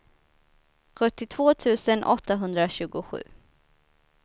sjuttiotvå tusen åttahundratjugosju